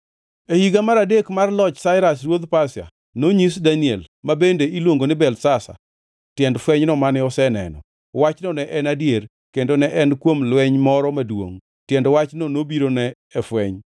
E higa mar adek mar loch Sairas ruodh Pasia, nonyis Daniel (ma bende iluongo ni Belteshazar) tiend fwenyno mane oseneno. Wachno ne en adier, kendo ne en kuom lweny moro maduongʼ! Tiend wachno nobirone e fweny.